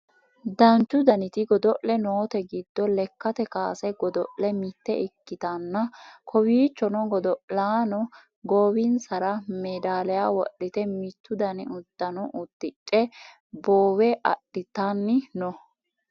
duuchu daniti godo'le noote giddo lekkate kaase godo; le mitte ikkitanna kowiichono godo'laano goowinsara meedaliyaa wodhite mittu dani uddano uddidhe boowe adhitanni no